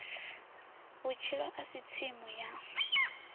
vhutshilo a si tsimu ya